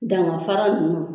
Ganga fara ninnu